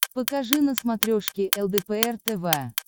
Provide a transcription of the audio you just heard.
покажи на смотрешке лдпр тв